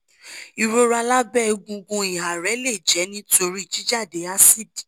ìrora lábẹ́ egungun ìhà rẹ lè jẹ́ nítorí jíjáde àsídì